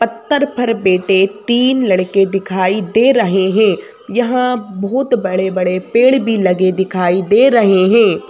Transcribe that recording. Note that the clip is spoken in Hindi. पत्थर पर बेटे तीन लड़के दिखाई दे रहे हैं यहाँ बहुत बड़े बड़े पेड़ भी लगे दिखाई दे रहे हैं।